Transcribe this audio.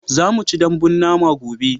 za mu ci dambun nama gobe